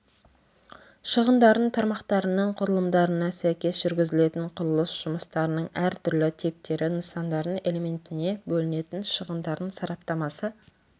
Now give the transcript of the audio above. шығындардың тармақтарының құрылымдарына сәйкес жүргізілетін құрылыс жұмыстарының әртүрлі типтері нысандардың элементіне бөлінетін шығындардың сараптамасы